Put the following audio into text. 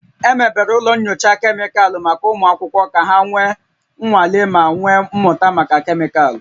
Emebere ụlọ nyocha kemịkalụ maka ụmụ akwụkwọ ka ha mee nnwale ma wee mụta maka kemịkalụ